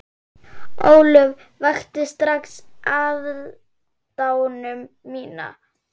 Ólöf vakti strax aðdáun mína.